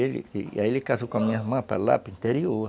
E aí ele casou com a minha irmã para lá, para o interior.